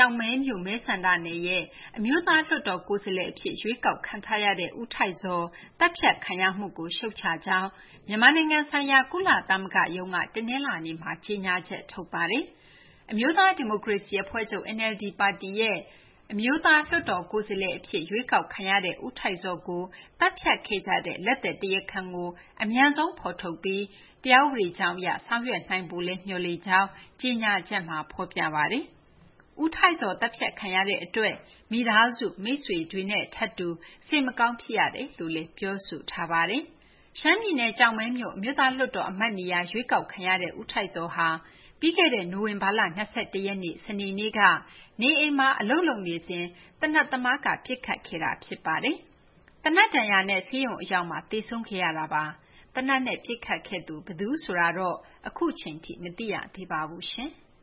ောက်မဲမြို့ မဲဆန္ဒနယ်ရဲ့ NLD အမျိုးသားလွှတ်တော်ကိုယ်စားလှယ်အဖြစ် ရွေးကောက်ခံထားရသူ ဦးထိုက်ဇော် သတ်ဖြတ်ခံရမှုကို ရှုတ်ချကြောင်း မြန်မာဆိုင်ရာ ကုလသမဂ္ဂရုံးက တနလာၤနေ့မှာ ကြေညာချက်ထုတ်ပါတယ်။ အမျိုးသားဒီမိုကရေစီအဖွဲ့ချုပ် NLD ပါတီရဲ့ အမျိုးသားလွှတ်တော်ကိုယ်စားလှယ်အဖြစ် ရွေးကောက်ခံရသူ ဦးထိုက်ဇော် သတ်ဖြတ်ခံရမှုမှာ ကျူးလွန်သူတွေကို အမြန်ဆုံးဖော်ထုတ်ပြီး တရားဥပဒေကြောင်းအရ ဆောင်ရွက်နိုင်ဖို့လည်း မျှော်လင့်ကြောင်း ထုတ်ပြန်ချက်မှာ ဖော်ပြထားပါတယ်။ ဦးထိုက်ဇော် အသတ်ခံရမှုအတွက် မိသားစုမိတ်ဆွေနဲ့ ထပ်တူစိတ်မကောင်းဖြစ်ရကြောင်းလည်း ဖော်ပြပါတယ်။ ရှမ်းပြည်နယ် ကျောက်မဲမြို့ အမျိုးသားလွှတ်တော်အမတ်နေရာ ရွေးကောက်ခံထားရတဲ့ ဦးထိုက်ဇော်ဟာ ပြီးခဲ့တဲ့ နိုဝင်ဘာလ ၂၁ ရက်နေ့ စနေနေ့က နေအိမ်မှာအလုပ်လုပ်နေစဉ် သေနတ်သမားက ပစ်ခတ်ခဲ့တာဖြစ်ပါတယ်။ သေနတ်ဒဏ်ရာနဲ့ ဆေးရုံအရောက်မှာ သေဆုံးခဲ့တာပါ။ သေနတ်နဲ့ ပစ်ခတ်ခဲ့သူ ဘယ်သူဆိုတာတော့ အခုအချိန်ထိ မသိရသေးပါဘူး။